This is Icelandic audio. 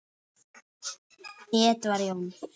Edward Jón.